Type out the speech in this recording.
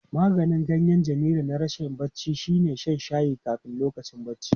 Maganin ganyen Jamilu na rashin bacci shine shan shayin kafin lokacin bacci.